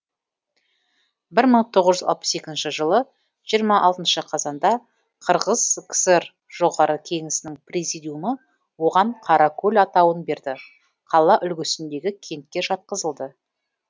бір мың тоғыз жүз алпыс екінші жылы жиырма алтыншы қазанда қырғыз кср жоғарғы кеңесінің президиумы оған қаракөл атауын берді қала үлгісіндегі кентке жатқызылды